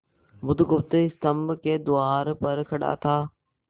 बुधगुप्त स्तंभ के द्वार पर खड़ा था